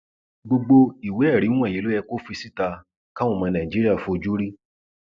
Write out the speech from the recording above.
gbogbo ìwéẹrí wọnyí ló yẹ kó fi síta káwọn ọmọ nàìjíríà fojú rí